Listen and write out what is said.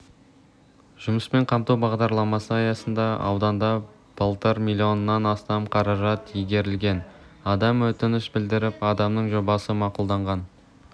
жұмыспен қамту бағдарламасы аясында ауданда былтыр миллионнан астам қаражат игерілген адам өтініш білдіріп адамның жобасы мақұлданған